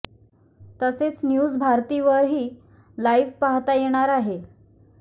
तसेच न्युज भारती वर ही लाइव्ह पाहता येणार आहे